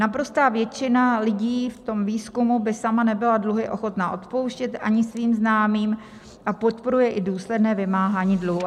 Naprostá většina lidí v tom výzkumu by sama nebyla dluhy ochotna odpouštět ani svým známým a podporuje i důsledné vymáhání dluhů.